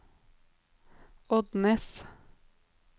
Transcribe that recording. Odnes